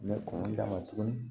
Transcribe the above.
N bɛ kɔn ka tuguni